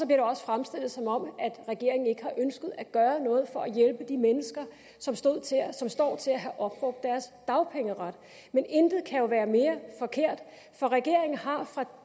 det også fremstillet som om regeringen ikke har ønsket at gøre noget for at hjælpe de mennesker som står til at have opbrugt deres dagpengeret men intet kan jo være mere forkert for regeringen har fra